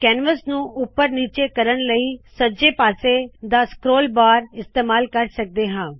canvas ਨੂ ਉਪਰ ਨੀਚੇ ਕਰਨ ਲਇ ਸੱਜੇ ਪਾਸੇ ਦਾ ਸ੍ਕ੍ਰੋਲ ਬਾਰ ਇਸਤੇਮਾਲ ਕਰ ਸਕਦੇ ਹਾ